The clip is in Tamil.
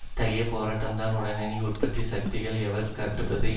அத்தகைய போராட்டம்தான் உடனடியாக உற்பத்தி சக்திகளை எவர் கட்டு படுத்துவது